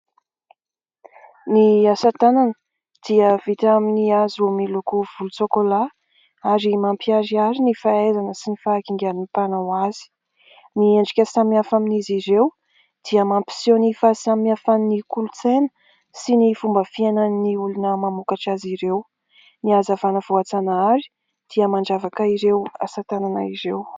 Ny asa tanana dia vita amin'ny hazo miloko volon-tsokolà, ary mampiharihary ny fahaizana sy ny fahakingan'ny mpanao azy. Ny endrika samihafa amin'izy ireo dia mampiseho ny fahasamihafan'ny kolontsaina sy ny fomba fiainan'ny olona mamokatra azy ireo. Ny hazavana voajanahary dia mandravaka ireo asa tanana ireo.